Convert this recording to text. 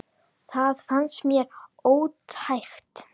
Það fannst mér ótækt.